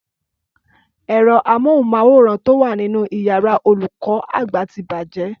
Ẹ̀rọ amóhùnmáwòrán tó wa nínu iyàrá olùkó àgbà ti bàjé